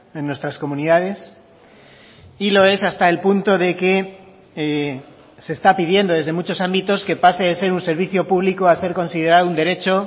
en nuestras comunidades y lo es hasta el punto de que se está pidiendo desde muchos ámbitos que pase de ser un servicio público a ser considerado un derecho